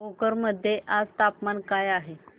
भोकर मध्ये आज तापमान काय आहे